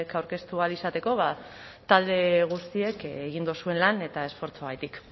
aurkeztu ahal izateko talde guztiek egin duzuen lan eta esfortzuagatik